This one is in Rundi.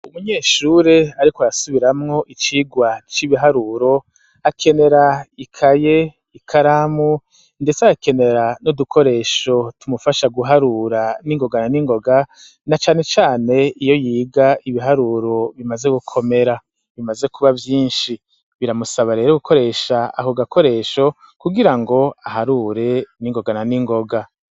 Umunyeshure, ariko arasubiramwo icigwa c'ibiharuro akenera ikaye i karamu, ndetse akenera n'udukoresho tumufasha guharura n'ingogana n'ingoga na canecane iyo yiga ibiharuro bimaze gukomera bimaze kuba vyinshi biramusaba rero gukoresha aho gakoresho kugirango aharure n'ingogana n'ingoga.